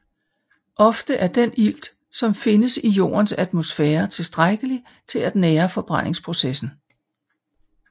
Ofte er den ilt som findes i Jordens atmosfære tilstrækkelig til at nære forbrændingsprocessen